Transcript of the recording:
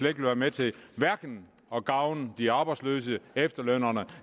vil være med til at gavne de arbejdsløse efterlønnerne